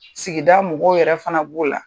Sigi mɔgɔw yɛrɛ fana b'o la